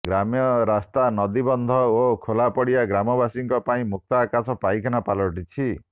ଗ୍ରାମ୍ୟରାସ୍ତା ନଦୀବନ୍ଧ ଓ ଖୋଲା ପଡ଼ିଆ ଗ୍ରାମବାସୀଙ୍କ ପାଇଁ ମୁକ୍ତାକାଶ ପାଇଖାନା ପାଲଟିଛି